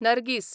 Nargis